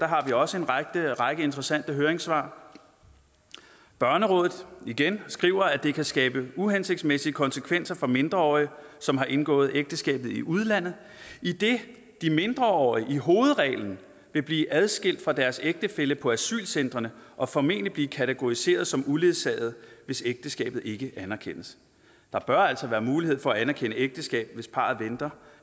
har vi også en række interessante høringssvar børnerådet igen skriver at det kan skabe uhensigtsmæssige konsekvenser for mindreårige som har indgået ægteskabet i udlandet idet de mindreårige i hovedreglen vil blive adskilt fra deres ægtefæller på asylcentrene og formentlig blive kategoriseret som uledsagede hvis ægteskabet ikke anerkendes der bør altså være mulighed for at anerkende ægteskabet hvis parret venter